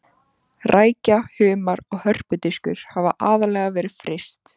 Rækja, humar og hörpudiskur hafa aðallega verið fryst.